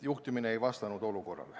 Juhtimine ei vastanud olukorrale.